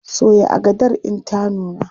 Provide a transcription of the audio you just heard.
Soya agadar in ta nuna!